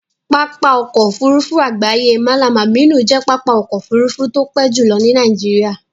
Pápá ọkọ̀ Òfurufú àgbáyé Mallam Aminu jẹ́ pápá ọkọ̀ Òfurufú tó pé jùlo ní Nàìjíríà